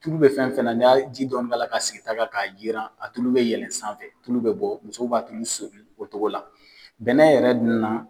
Tulu bɛ fɛn fɛn ni y'a ji dɔɔnin k'a sigi ta sanfɛ k'a yiran a tulu bɛ yɛlɛn sanfɛ tulu bɛ bɔ muso b'a tulu soli o cogo la bɛnɛ yɛrɛ dun na